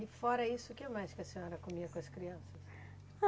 E fora isso, o que mais que a senhora comia com as crianças?